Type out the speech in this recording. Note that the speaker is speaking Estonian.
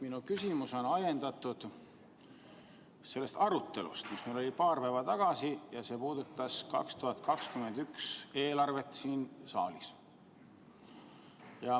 Minu küsimus on ajendatud sellest arutelust, mis meil oli siin saalis paar päeva tagasi, see puudutas 2021. aasta eelarvet.